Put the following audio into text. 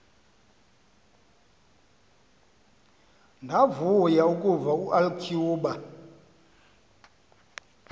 ndavuya ukuva ulcuba